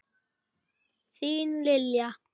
Þín Lilja.